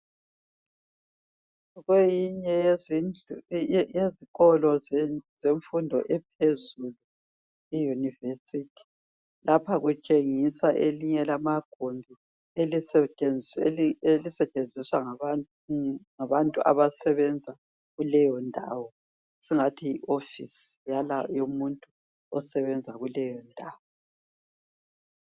Eyinye yezindlu yezikolo zemfundo ephezulu i yunivesithi. Lapha kutshengiswa elinye lamagumbi elisetshenziswa ngabantu abasebenzayo kuleyo ndawo, esingathi yi hofisi yomuntu osebenza kuleyo ndawo.